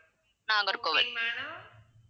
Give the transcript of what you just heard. Nagercoil